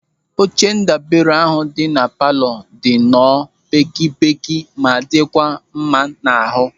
Oche ndabere ahụ dị na palọ dị nọọ pékėpékė ma dịkwa mma n'ahụ.